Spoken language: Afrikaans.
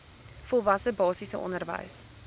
volwasse basiese onderwys